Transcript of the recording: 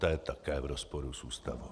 To je také v rozporu s ústavou.